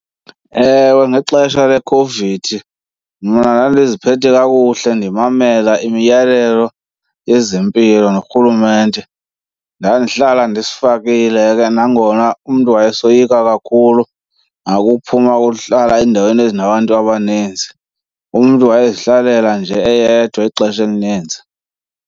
Ewe, ngexesha lekhovidi mna ndandiziphethe kakuhle ndimamela imiyalelo yezempilo norhulumente. Ndandihlala ndisifakile ke nangona umntu wayesoyika kakhulu nakuphuma ukuhlala ezindaweni ezinabantu abaninzi, umntu wayezihlalela nje eyedwa ixesha elininzi.